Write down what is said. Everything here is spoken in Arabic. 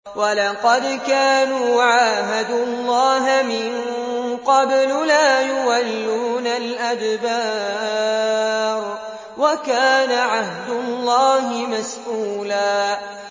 وَلَقَدْ كَانُوا عَاهَدُوا اللَّهَ مِن قَبْلُ لَا يُوَلُّونَ الْأَدْبَارَ ۚ وَكَانَ عَهْدُ اللَّهِ مَسْئُولًا